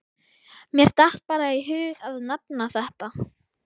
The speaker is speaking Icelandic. Mér datt bara í hug að nefna þetta.